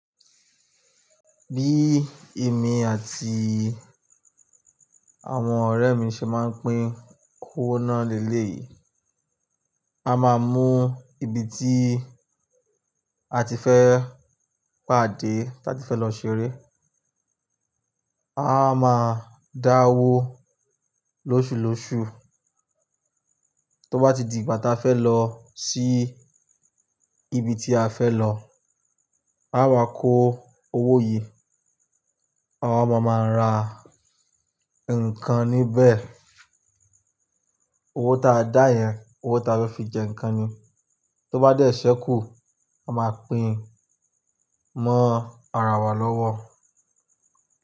Bí èmi àti àwọn ọ̀rẹ́ mi ṣe máa ń pín owó náà lé lé yìí, a máa mu ibi tí a ti fẹ́ pàdé tí a ti fẹ́ lọ ṣeré. A máa dáa wó lóṣùlòṣù. Tó bá ti di ìgbà táa fẹ́ lọ sí ibi tí a fẹ́ lọ, a wa kó owó yìí. Àwa máa máa ra nǹkan níbẹ̀. Owó ta a dá yẹn, owó ta a fẹ́ fi jẹ nǹkan ni. Tó bá dẹ́sẹ̀ kú, a máa pín mọ́ ara wa lọ́wọ́.